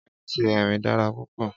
Éti Erín dàrá púpò